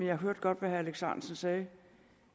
jeg hørte godt hvad herre alex ahrendtsen sagde